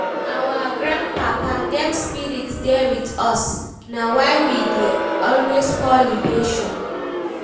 Our grandpapa dem spirit dey wit us, na why we dey always pour libation.